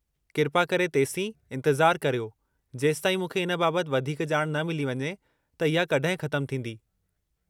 किरपा करे तेसीं इंतिज़ारु करियो जेसिताईं मूंखे इन बाबतु वधीकु ॼाण न मिली वञे त इहा कड॒हिं ख़तमु थींदी।